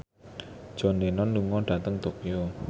John Lennon lunga dhateng Tokyo